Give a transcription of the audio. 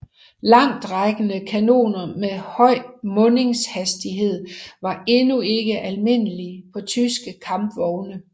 Langtrækkende kanoner med høj mundingshastighed var endnu ikke almindelige på tyske kampvogne